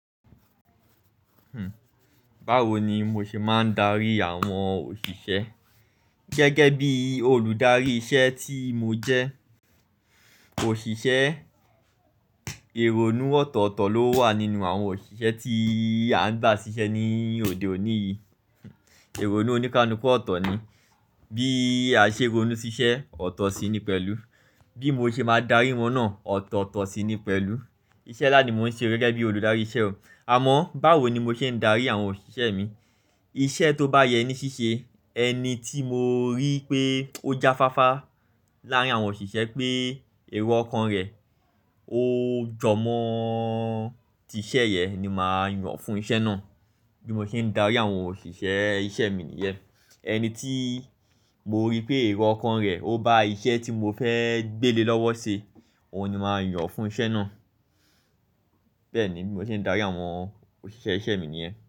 Báwo ni mo ṣe máa ń darí àwọn òṣìṣẹ́ gẹ́gẹ́ bí olùdarí iṣẹ́ tí mo jẹ́? Òṣìṣẹ́, èrò nú ọ̀tọ̀ọ̀tọ̀ ló wà nínú àwọn òṣìṣẹ́ tí a ń gbà ṣiṣẹ́ ní òde òní yìí. Èrò nú oníkánúkọ́ ọ̀tọ̀ ni, bí àṣèrò nú ṣiṣẹ́ ọ̀tọ̀ sí ni pẹ̀lú. Bí mo ṣe máa darí wọn náà ọ̀tọ̀ọ̀tọ̀ sí ni pẹ̀lú. Iṣẹ́ nla ni mò ń ṣe gẹ́gẹ́ bí olùdarí iṣẹ́ o. Àmọ́ báwo ni mo ṣe ń darí àwọn òṣìṣẹ́ mi? Iṣẹ́ tó bá yẹ ní ṣíṣe, ẹni tí mo rí pé ó jáfáfá láàrín àwọn òṣìṣẹ́ pé èrò ọkàn rẹ̀ ó jọmọ́ tí iṣẹ́ yẹn ni màá yàn fún iṣẹ́ náà. Bí mo ṣe ń darí àwọn òṣìṣẹ́ iṣẹ́ mi nìyẹn. Ẹni tí mo rí pé èrò ọkàn rẹ̀ ó bá iṣẹ́ tí mo fẹ́ gbéle lọ́wọ́ ṣe, òun ni màá yàn fún iṣẹ́ náà. Bẹ́ẹ̀ni bí mo ṣe ń darí àwọn òṣìṣẹ́ iṣẹ́ mi nìyẹn.